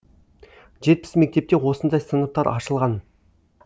жетпіс мектепте осындай сыныптар ашылған